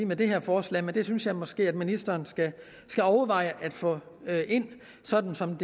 med det her forslag men det synes jeg måske at ministeren skal overveje at få ind sådan som